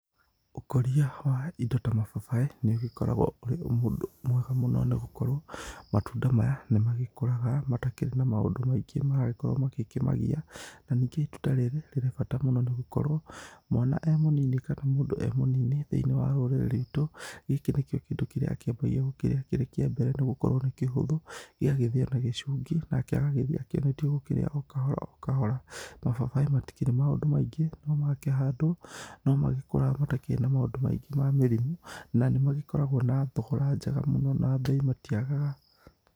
Ũkũria wa indo ta mababaĩ nĩ ũgĩkoragwo ũrĩ mwega mũno nĩ gũkorwo matunda maya nĩmagĩkũraga matakĩrĩ na maũndũ maingĩ maragĩkorwo magĩkĩmagiya. Na ningĩ itunda rĩrĩ nĩ rĩrĩ bata mũno nĩ gũkorwo mwana e mũnini kana mũndũ e mũnini thĩiniĩ wa rũrĩrĩ rwitũ gĩkĩ nĩ kĩ o kĩndũ kĩambagia gũkĩrĩa gĩkĩrĩ kĩambere nĩgũkorwo nĩ kĩhũthũ. Gĩgagĩthĩyo na gĩcungi nake agagĩthiĩ akĩonetio gũkĩrĩa o kahora kahora. Mababaĩ matirĩ maũndũ maingĩ, makĩhandwo no magĩkũraga matakĩrĩ na maũndũ maingĩ ma mĩrimũ na nĩmagĩkoragwo na thogora njega mũno na mbei matiagaga.